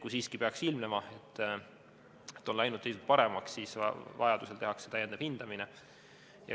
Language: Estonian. Kui siiski peaks ilmnema, et seisund on läinud paremaks, siis vajaduse korral tehakse täiendav hindamine.